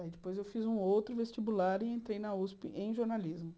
Aí, depois, eu fiz um outro vestibular e entrei na usp em jornalismo.